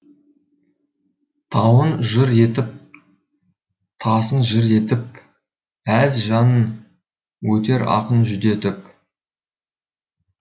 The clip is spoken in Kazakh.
тауын жыр етіп тасын жыр етіп әз жанын өтер ақын жүдетіп